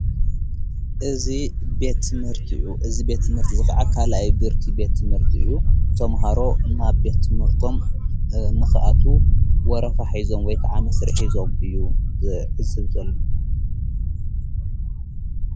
እዝ ቤት ትምህርት እዩ እዝ ቤት ትምህርቲ እዝ ኸዓ ካልይ ቡርኪ ቤት ትምህርት እዩ። ተምሃሮ ናብ ቤት ትምህርቶም ንኽኣቱ ወረፋ ሒዞም ወይ ከዓ መስሪዕ ሕዞም እዩም ዘለው።